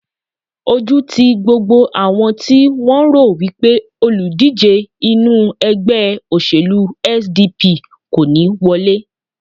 Ojú ti gbogbo àwọn ti wọ́n rò wipe olùdíje inú ègbé òṣèlú SDP kò ní wọlé